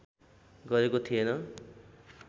गरेको थिएन